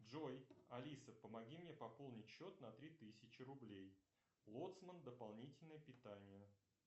джой алиса помоги мне пополнить счет на три тысячи рублей лоцман дополнительное питание